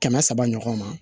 Kɛmɛ saba ɲɔgɔn ma